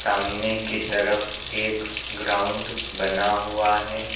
सामने की तरफ एक ग्राउंड बना हुआ है।